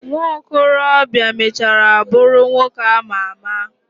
Nwokolo bia mechara buru nwoke ama ama.